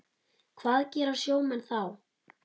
Hvað gera sjómenn þá?